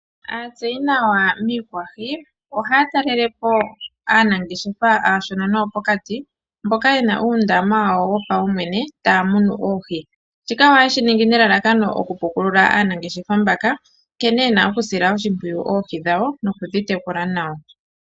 Aatseyinawa miikwahi, ohaya talelepo aanangeshefa aashona noyo pokati mboka yena uundama wo paumwene taya munu oohi. Shika ohaye shi ningi ne lalakano oku pukulula aanangeshefa mbaka. Nkene yena oku sila oshimpwiyu oohi dhawo noku dhi tekula nawa.